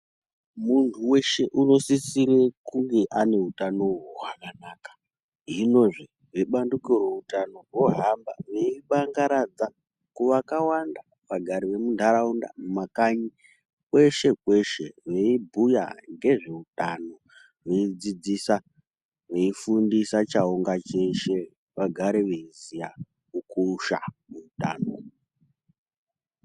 Muntu weshe unosisire kunge ane utano hwakanak., Hinozve vebandiko reutano vohambazve veibangaradza kuvakawanda vagari vemuntaraunda, mumakanyi kweshe-kweshe veibhuya ngezveutano, veidzidzisa, veifundisa chaunga cheshe vagare veiziya kukosha kweutano.